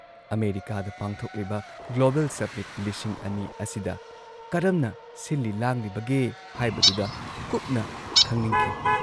ꯑꯃꯦꯔꯤꯀꯥꯗ ꯄꯥꯡꯊꯣꯛꯂꯤꯕ global summit ꯂꯤꯁꯤꯡ ꯑꯅꯤ ꯑꯁꯤꯗ ꯀꯔꯝꯅ ꯁꯤꯜꯂꯤ ꯂꯥꯡꯂꯤꯕꯒꯦ ꯍꯥꯏꯕꯗꯨꯗ ꯀꯨꯞꯅ ꯈꯪꯅꯤꯡꯈꯤ ꯫